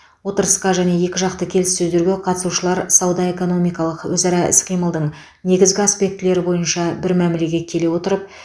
отырысқа және екіжақты келіссөздерге қатысушылар сауда экономикалық өзара іс қимылдың негізгі аспектілері бойынша бір мәмілеге келе отырып